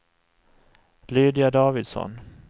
Lydia Davidsson